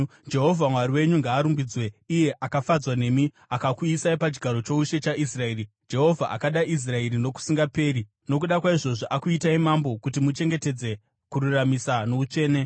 Jehovha Mwari wenyu ngaarumbidzwe, iye akafadzwa nemi akakuisai pachigaro choushe chaIsraeri. Jehovha akada Israeri nokusingaperi, nokuda kwaizvozvo akuitai mambo kuti muchengetedze kururamisira noutsvene.”